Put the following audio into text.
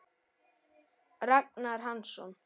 Ragnar Hansson